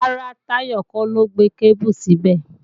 Rárá, Táyọ̀ kọ́ ló gbé kébù síbẹ̀